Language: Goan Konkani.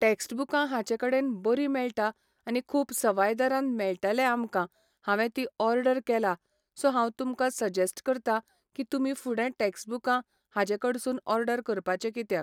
टॅक्सबूकां हाचे कडेन बरी मेळटा आनी खूब सवाय दरान मेळटले आमकां हांवें तीं ओर्डर केला सो हांव तुमकां सजेस्ट करता की तुमी फुडें टॅक्सबूकां हाजे कडसून ओर्डर करपाचे कित्याक